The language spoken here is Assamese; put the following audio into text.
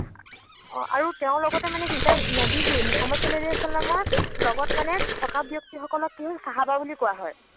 অ আৰু তেওঁৰ লগতে মানে কি এতিয়া নৱী যে, মোহাম্মদ ছাল্লাল্লাহু ছাল্লামৰ লগত মানে থকা ব্যক্তি সকলক কি হল ছাহাবা বুলি কোৱা হয়।